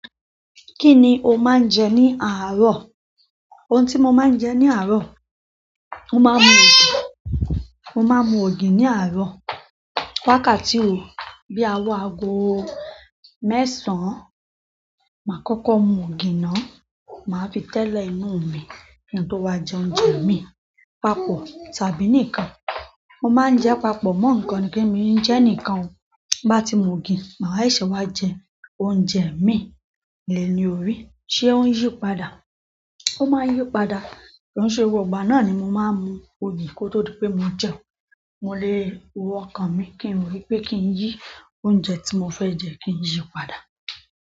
Kíni o máa ń jẹ ní àárọ̀? Oun tí mo máa ń jẹ ní àárọ̀, mo máa ń mu ògì, mo máa ń mu ògì ní àárọ̀. Wákàtí ò, bí awọ àago mẹ́sàn-án, màá kókó mu ògì náà, màá fi tẹ́lẹ̀ inú mi kí n tó wá jẹ oúnjẹ míì, papọ̀ tàbí nìkan. Mo máa ń jẹ papọ̀ mọ́ ǹkan nìkan, mi ò ní jẹ nìkan. Bá ti mu ògì, màá seṣẹ́ wá jẹ oúnjẹ míì. Le ní orí, ṣé o ń yí padà. Ó máa ń yí padà. Kì í ṣe gbogbo ìgbà náà ni mo máa ń mu ògì kò tó dípé mo jẹun. Mo lè wo ọkàn mi, kí n mo ni pé, kí n yí oúnjẹ tí mo fẹ́ jẹ, kí n yí padà.